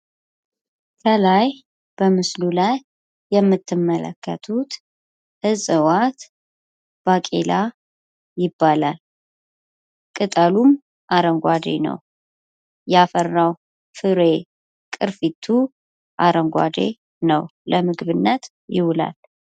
ከላይ በምስሉ ላይ የምትመለከቱት እጽዋት ባቄላ ይባላል፤ ቅጠሉም አረንጓዴ ነው፣ ያፈራው ፍሬ ቅርፊቱም አረንጓዴ ነው፣ ፍሬዉም ለምግብነት ይውላል።